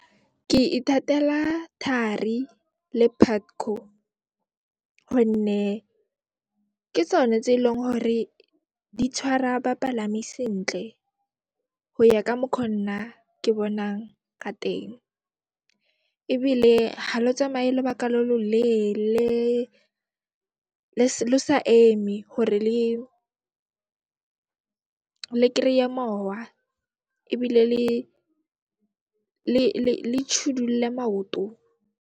Ke ithatela Thari le Putco gonne ke tsone tse eleng hore di tshwara bapalami sentle go ya ka mokho nna ke bonang ka teng, ebile ha lo tsamaye lobaka lo lo leele, le sa eme gore le kry-e mowa ebile le maoto.